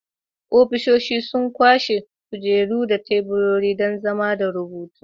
Ofisoshin sun ƙunshi kujeru da tebura don zama da rubutu